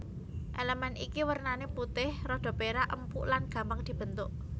Elemen iki wernané putih rada perak empuk lan gampang dibentuk